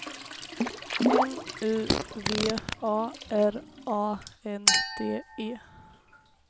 N U V A R A N D E